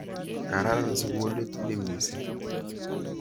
Kararan sukulit ni missing' .